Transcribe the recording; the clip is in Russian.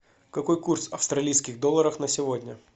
какой курс австралийских долларов на сегодня